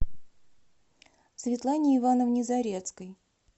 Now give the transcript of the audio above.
светлане ивановне зарецкой